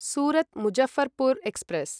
Surat Muzaffarpur express